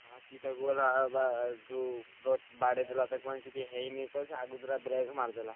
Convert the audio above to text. ସିଏ ତାକୁ ହେଲା ବା ଯୋଉ ପ ବାଡ଼େଇଦେଲା ତାକୁ କିଛି ହେଇନି କହ ସେ ଆଗତରା break ମାରିଦେଲା।